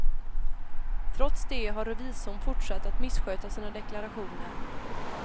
Trots det har revisorn fortsatt att missköta sina deklarationer.